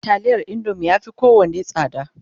taliyar golden penny ya Fi kowanne tsada